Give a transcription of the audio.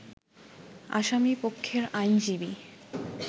আসামি পক্ষের আইনজীবী